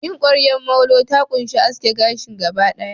yin ƙwaryar molo ta ƙunshi aske gashin gaba ɗaya.